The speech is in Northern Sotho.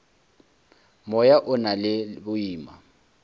moya o na le boima